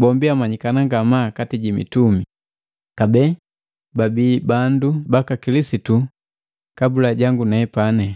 bombi amanyikana ngamaa kati ji mitumi, kabee babi bandu baka Kilisitu kabula jangu nepani.